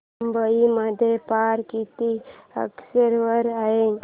मुंबई मध्ये पारा किती अंशावर आहे